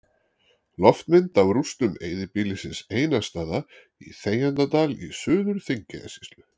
Loftmynd af rústum eyðibýlisins Einarsstaða í Þegjandadal í Suður-Þingeyjarsýslu.